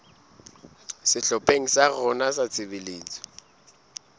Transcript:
sehlopheng sa rona sa tshebetso